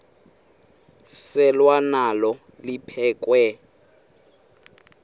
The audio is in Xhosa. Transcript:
selwa nalo liphekhwe